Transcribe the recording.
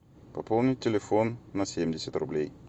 пополнить телефон на семьдесят рублей